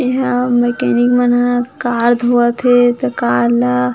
इहा मेकेनिक मन हा कार धोवत हे त कार ला --